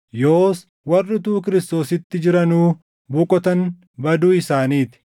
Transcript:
Yoos warri utuu Kiristoositti jiranuu boqotan baduu isaanii ti.